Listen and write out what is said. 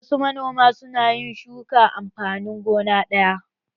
Wasu manoman su na yin shukan amfanin gona ɗaya